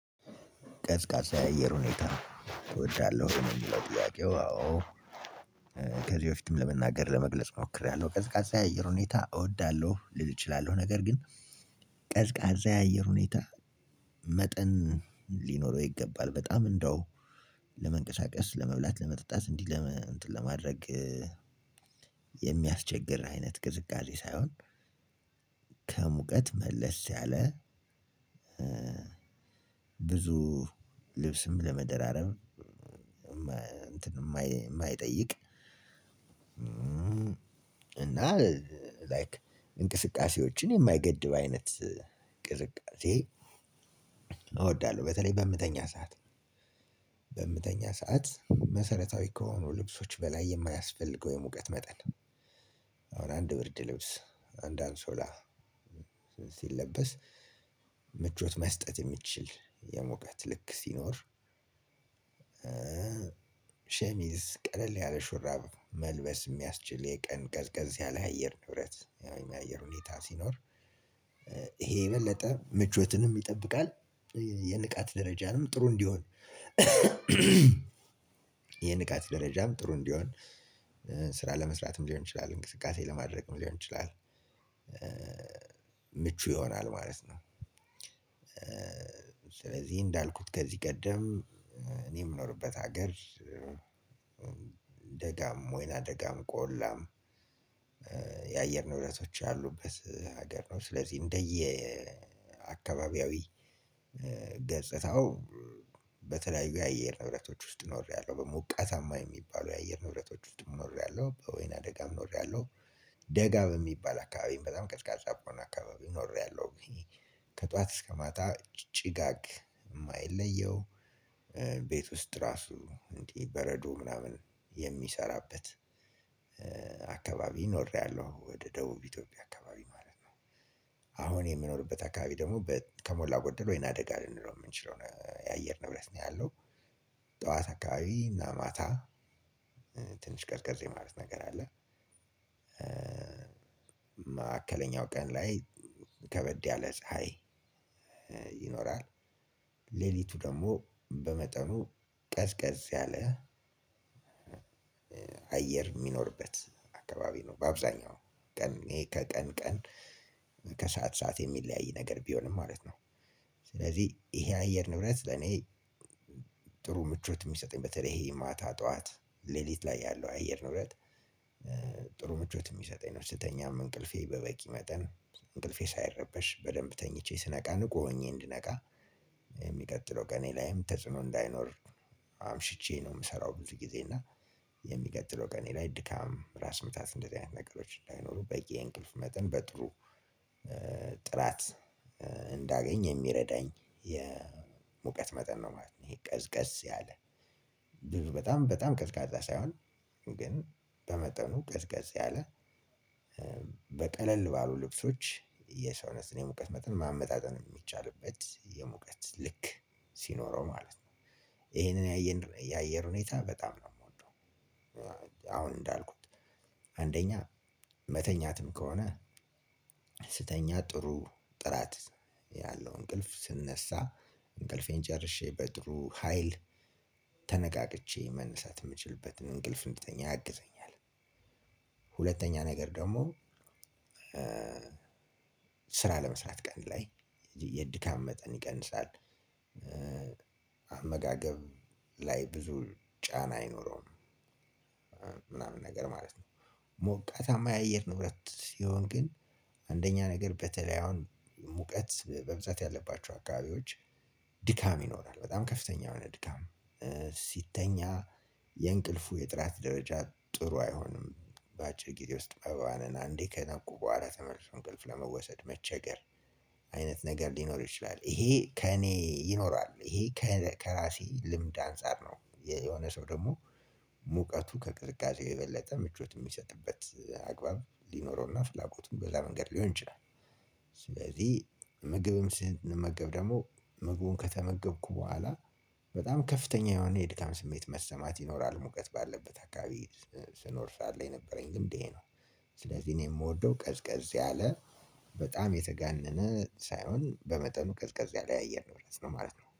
ቀዝቃዛ የአየር ሁኔታ ተወዳለሁ የሚለው ጥያቄው? አዎ ከዚህ በፊትም ለመናገር ለመግለጽ ሞክሬያለሁ። ቀዝቃዛ የአየር ሁኔታ እወዳለሁ ሊል እችላለሁ። ነገር ግን ቀዝቃዛ የአየር ሁኔታ መጠን ሊኖረው ይገባል። በጣም እንደው ለመንቀሳቀስ ለመብላት ለመጠጣት እንዲለምን ለማድረግ የሚያስቸግር አይነት ቅዝቃዜ ሳይሆን። ከሙቀት መለስ ያለ። ብዙ ልብስም ለመደራረብ። እንትን እማይጠይቅ እና ላይክ እንቅስቃሴዎችን የማይገድብ አይነት ቅዝቃዜ እወዳለሁ። በተለይ በምተኛ ሰዓት በምተኛ ሰዓት መሰረታዊ ከሆኑ ልብሶች በላይ የማያስፈልገው የሙቀት መጠን። አንድ ብርድ ልብስ አንድ አንሶላ ሲለበስ ምቾት መስጠት እሚችል የሙቀት ልክ ሲኖር። ሸሚዝ ቀለል ያለ ሹራብ መልበስ እሚያስችል የቀን ቀዝቀዝ ያለ አየር ንብረት የአየር ሁኔታ ሲኖር። ይሄ የበለጠ ምቾትንም ይጠብቃል የንቃት ደረጃንም ጥሩ እንዲሆን። የንቃት ደረጃም ጥሩ እንዲሆን ስራ ለመስራትም ሊሆን ይችላል እንቅስቃሴ ለማድረግም ሊሆን ይችላል። ምቹ ይሆናል ማለት ነው። ስለዚህ እንዳልኩት ከዚህ ቀደም እኔ እምኖርበት ሀገር። ደጋም ወይና ደጋም ቆላ የአየር ንብለቶች ያሉበት ሀገር ነው። ስለዚህ እንደየ አካባቢያዊ ገጽታው በተለያዩ የአየር ንብረቶች ውስጥ ኖሬያለሁ። በሞቀታማ የሚባሉ የአየር ንብረቶች ውስጥም ኖሬያለሁ በወይና አደጋም ኖሬያለሁ። ደጋም የሚባል አካባቢም በጣም ቀዝቃዛ በሆነ አካባቢ ኖሬያለሁ። ከጧት እስከ ማታ ጭጋግ እማይለየው ቤት ውስጥ ራሱ እንዲ በረዶ ምናምን የሚሰራበት አካባቢ ኖሬያለሁ። ወደ ደቡብ ኢትዮጵያ አካባቢ ማለት ነው። አሁን የምኖርበት አካባቢ ደሞ ከሞላ ጎደሎ ወይን አደጋ ልንለው እምንችለው የአየር ንብረት ነው ያለው። የሃዋሳ አካባቢ እና ማታ ትንሽ ቀዝቀዝ የማለት ነገር አለ። ማዕከለኛው ቀን ላይ ከበድ ያለ ፀሀይ ይኖራል። ሌሊቱ ደሞ በመጠኑ ቀዝቀዝ ያለ አየር እሚኖርበት አካባቢ ነው። በአብዛኛው ቀን ሌት ከቀን ቀን ከሰአት ሰዓት የሚለያይ ነገር ቢሆንም ማለት ነው። ስለዚህ ይሄ አየር ንብረት ለኔ ጥሩ ምቾት እሚሰጠኝ በተለይ ይሄ ማታ ጠዋት ሌሊት ላይ ያለው አየር ነው ንብረት። ጥሩ ምቾት ስንተኛ እቅልፍ በበቂ መጠን እቅልፌ ሳይረበሽ በደንብ ተኝቼ ስነቃ ንቁ ሆኜ እድነቃ ለሚቀጥለው ቀኔ ላይም ተጽዕኖ እንዳይኖር። አምሽቼ ነው እምሰራው ብዙ ጊዜ እና ለሚቀጥለው ቀኔ ላይ ድካም ራስ ምታት እንደዚህ አይነት ነገሮች እንዳይኖሩ በዬ እንቅልፍ መጠን በጥሩ ጥራት እንዳገኝ የሚረዳኝ የሙቀት መጠን ነው ማለት ነው። ይሄ ቀዝቀዝ ያለ ብዙ በጣም ቀዝቃዛ ሳይሆን ግን በመጠኑ ቀዝቀዝ ያለ በቀለል ባሉ ልብሶች የሰውነትን የሙቀት መጠን ማመጣጠን እሚቻልበት የሙቀት ልክ ሲኖረው ማለት ነው። የሄን የ አየር ሁኔታ አሁን እንዳልኩት አንደኛ መተኛትም ከሆነ ስተኛ ጥሩ ጥራት ያለው እንቅልፍ ስነሳ እንቅልፌን ጨርሼ በጥሩ ሀይል ተነቃቅቼ መነሳት እምችልበትን እንቅልፍ እንድተኛ ያግዘኛል። ሁለተኛ ነገር ደሞ ስራ ለመስራት ቀን ላይ የድካም መጠን ይቀንሳል። አመጋገብ ላይ ብዙ ጫና አይኖረው ምናምን ነገር ማለት ነው። ሞቃታማ የአየር ንብረት ሲሆን ግን አንደኛ ነገር በተለይ አሁን ሙቀት በብዛት ያለባቸው አካባቢዎች ድካም ይኖራል በጣም ከፍተኛ የሆነ ድካም ሲተኛ የእንቅልፉ የጥራት ደረጃ ጥሩ አይሆንም። በአጭር ጊዜ ውስጥ አበባንን አንዴ ከነቁ በኋላ ተመልሶ እንቅልፍ ለመወሰድ መቸገር አይነት ነገር ሊኖር ይችላል። ይሄ ከእኔ ይኖራል ይሄ ከራሴ ልምድ አንፃር ነው። የሆነ ሰው ደግሞ ሙቀቱ ከቅዝቃዜው የበለጠ ምቾት እሚሰጥበት አግባብ ሊኖረውና ፍላጎቱን በዛ መንገድ ሊሆን ይችላል። ስለዚህ ምግብም ስንመገብ ደሞ ምግቡን ከተመገብኩ በኋላ በጣም ከፍተኛ የሆነ የድካም ስሜት መሰማት ይኖራል ሙቀት ባለበት አካባቢ ስኖር ሰዓት ላይ የነበረኝ ልምድ ይሄ ነው። ስለዚህ እኔ እምወደው ቀዝቀዝ ያለ በጣም የተጋነነ ሳይሆን በመጠኑ ቀዝቀዝ ያለ ያየር ንብረት ነው ማለት ነው